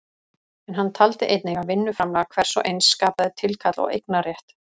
En hann taldi einnig að vinnuframlag hvers og eins skapaði tilkall og eignarrétt.